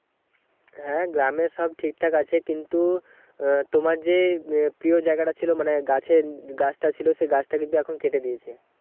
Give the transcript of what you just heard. হ্যাঁ গ্রামে সব ঠিকঠাক আছে কিন্তু আহ তোমার যে প্রিয় জায়গা টা ছিল মানে গাছে গাছ টা ছিল সেই গাছটা কিন্তু এখন কেটে দিয়েছে